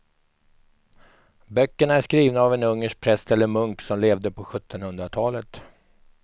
Böckerna är skrivna av en ungersk präst eller munk som levde på sjuttonhundratalet.